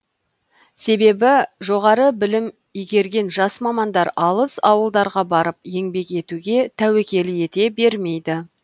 себебі жоғары білім игерген жас мамандар алыс ауылдарға барып еңбек етуге тәуекел ете бермейді